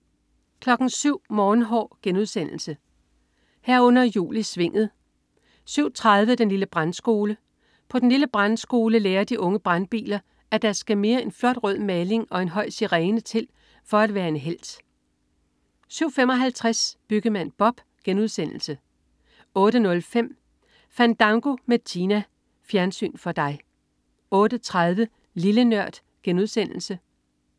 07.00 Morgenhår* 07.00 Jul i Svinget* 07.30 Den lille Brandskole. På den lille Brandskole lærer de unge brandbiler, at der skal mere end flot rød maling og en høj sirene til for at være en helt! 07.55 Byggemand Bob* 08.05 Fandango med Tina. Fjernsyn for dig 08.30 Lille Nørd*